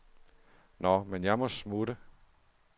Nåh, men jeg må smutte.